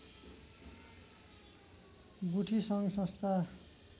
गुठी सङ्घ संस्था